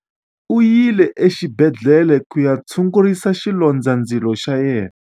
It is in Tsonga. U yile exibedhlele ku ya tshungurisa xilondzandzilo xa yena.